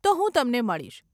તો હું તમને મળીશ.